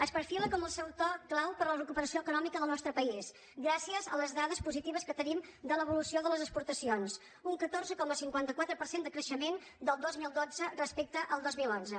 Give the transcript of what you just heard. es perfila com el sector clau per a la recuperació econòmica del nostre país gràcies a les dades positives que tenim de l’evolució de les exportacions un catorze coma cinquanta quatre per cent de creixement del dos mil dotze respecte al dos mil onze